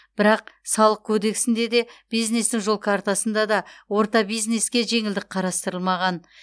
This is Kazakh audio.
бірақ салық кодексінде де бизнестің жол картасында да орта бизнеске жеңілдік қарастырылмаған